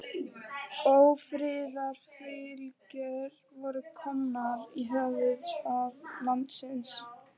Ófriðarfylgjur voru komnar í höfuðstað landsins.